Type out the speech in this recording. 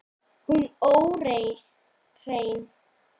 Hún óhrein.